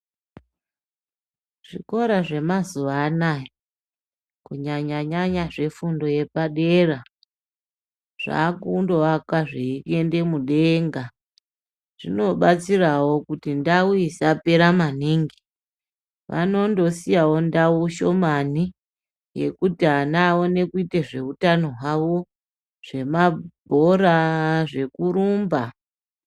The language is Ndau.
Zvikora zvemazuwanaya kunyanya nyanya zvefundo yepadera zvakundowakwa zveiende mudenga, zvinobatsirawo kuti ndau isapera maningi vanondosiyawo ndau shomani yekuti ana aone kuti zveutano hwawo, zvemabhora, zvekurumba.